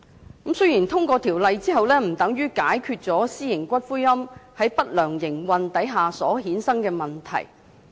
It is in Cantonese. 雖然《條例草案》通過之後，不等於私營龕場在不良營運下所衍生的問題就得到解決。